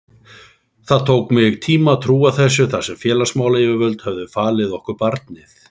Það tók mig tíma að trúa þessu þar sem félagsmálayfirvöld höfðu falið okkur barnið.